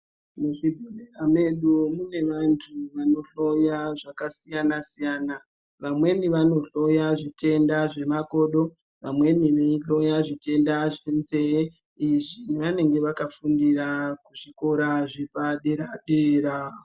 Mubhehleya mwedu mune vantu vanohloya zvakasiyana siyana. Vamweni vanohloya zvitenda zvemakodo, vamweni veihloya zvitenda zvenzeye. Izvi vanenge vakafundira kuzvikora zvepadera dera.